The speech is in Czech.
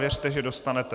Věřte, že dostanete.